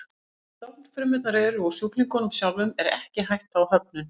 Þar sem stofnfrumurnar eru úr sjúklingnum sjálfum er ekki hætta á höfnun.